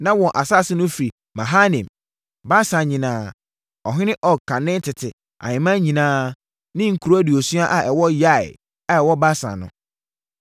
Na wɔn asase no firi Mahanaim, Basan nyinaa, ɔhene Og kane tete ahemman nyinaa ne nkuro aduosia a ɛwɔ Yair a ɛwɔ Basan no.